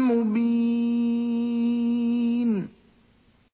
مُّبِينٍ